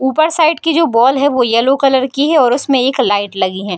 ऊपर साइड की जो वॉल है वो येलो कलर की है और उसमे एक लाइट लगी हुई है।